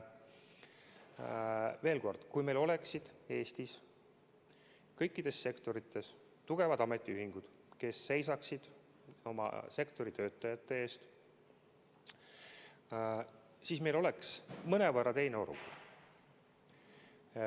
Veel kord: kui meil oleksid Eestis kõikides sektorites tugevad ametiühingud, kes seisaksid oma sektori töötajate eest, siis meil oleks mõnevõrra teine olukord.